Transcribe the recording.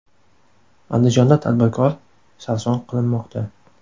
Andijonda tadbirkor sarson qilinmoqda.